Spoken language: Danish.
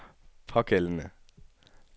pågældende